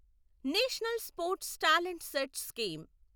national sports talent search scheme